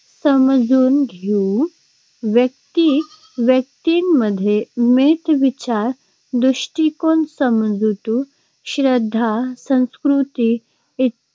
समजून घेऊ. व्यक्ती-व्यक्तींमध्ये मते, विचार, दृष्टिकोन, समजुती, श्रद्धा, संस्कृती इ